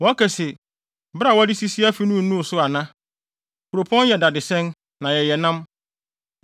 Wɔkae se, ‘Bere a wɔde sisi afi no nnuu so ana? Kuropɔn yɛ dadesɛn, na yɛyɛ nam.’